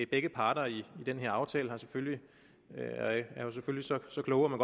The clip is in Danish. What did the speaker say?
begge parter i den her aftale var selvfølgelig så kloge at